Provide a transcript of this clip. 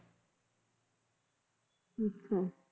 ਅੱਛਾ